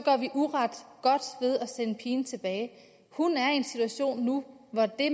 sende pigen tilbage hun er i en situation nu hvor det